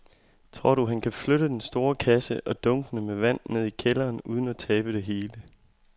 Tror du, at han kan flytte den store kasse og dunkene med vand ned i kælderen uden at tabe det hele?